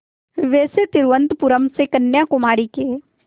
वैसे तिरुवनंतपुरम से कन्याकुमारी के